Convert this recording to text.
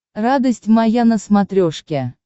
радость моя на смотрешке